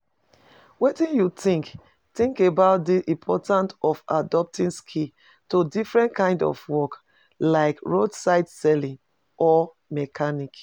Wetin you think think about di importance of adapting skills to different kinds of work, like roadside selling or mechanics?